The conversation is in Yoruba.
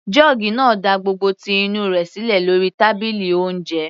Jọ́ọ́gì náà da gbogbo ti inú rẹ̀ sílẹ̀ lórí tábìlì oúnjẹ.